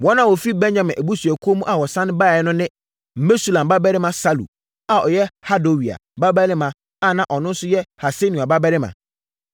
Wɔn a wɔfiri Benyamin abusuakuo mu a wɔsane baeɛ no ne: Mesulam babarima Salu, a ɔyɛ Hodawia babarima na ɔno nso yɛ Hasenua babarima;